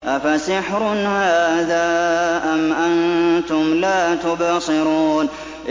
أَفَسِحْرٌ هَٰذَا أَمْ أَنتُمْ لَا تُبْصِرُونَ